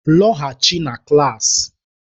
Lọghachi na klaasị!